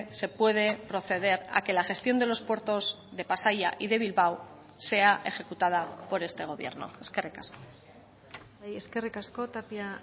se puede proceder a que la gestión de los puertos de pasaia y de bilbao sea ejecutada por este gobierno eskerrik asko eskerrik asko tapia